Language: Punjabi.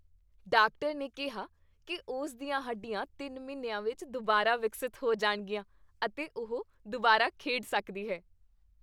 ਡਾਕਟਰ ਨੇ ਕਿਹਾ ਕੀ ਉਸ ਦੀਆਂ ਹੱਡੀਆਂ ਤਿੰਨ ਮਹੀਨਿਆਂ ਵਿੱਚ ਦੁਬਾਰਾ ਵਿਕਸਿਤ ਹੋ ਜਾਣਗੀਆਂ ਅਤੇ ਉਹ ਦੁਬਾਰਾ ਖੇਡ ਸਕਦੀ ਹੈ